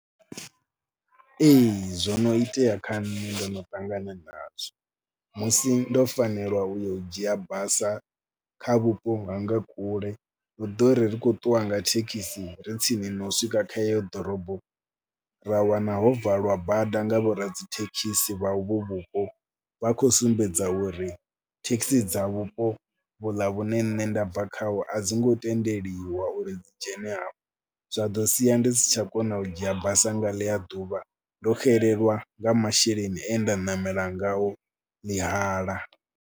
Ee zwo no itea kha nṋe, ndo no ṱangana nazwo, musi ndo fanelwa u yo u dzhia basa kha vhupo nga nga kule. Ho ḓo ri ri khou ṱuwa nga thekhisi ri tsini no swika kha heyo ḓorobo ra wana ho valwa bada nga vhoradzithekhisi vha uvho vhupo. Vha khou sumbedza uri thekhisi dza vhupo vhuḽa vhune nṋe nda bva khaho a dzi ngo tendeliwa uri dzi dzhene hafha, zwa ḓo sia ndi si tsha kona u dzhia basa nga ḽi a ḓuvha. Ndo xelelwa nga masheleni e nda ṋamela ngao ḽi hala.